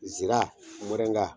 Zira, mɔrɛnga.